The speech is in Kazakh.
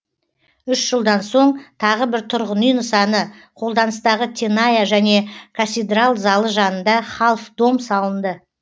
үш жылдан соң тағы бір тұрғын үй нысаны қолданыстағы теная және касидрал залы жанында халф дом салынды